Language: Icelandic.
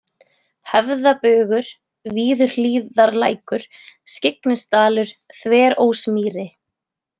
Höfðabugur, Viðurhlíðarlækur, Skyggnisdalur, Þverósmýri